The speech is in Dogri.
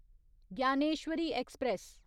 ज्ञानेश्वरी ऐक्सप्रैस